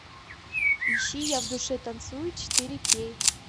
ищи я в душе танцую четыре кей